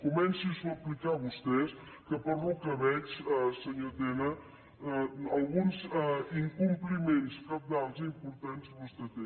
comencin s’ho aplicar a vostès que pel que veig senyor tena alguns incompliments cabdals importants vostè té